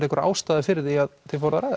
einhver ástæða fyrir því að þið fóruð að ræða